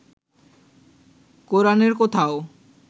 কোরানের কোথাও